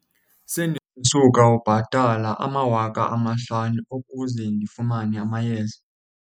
Sendisuka ubhatala amawaka amahlanu ukuze ndifumane amayeza.